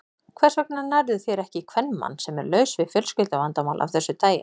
Hvers vegna nærðu þér ekki í kvenmann, sem er laus við fjölskylduvandamál af þessu tagi?